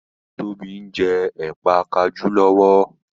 Tóbi njé Ẹ̀pà kajú lówó.